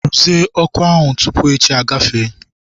Rụzie ọkụ ahụ tupu echi agafee!